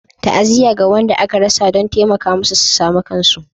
Ta'aziyya ga wanda aka rasa don taimaka musu su sami kansu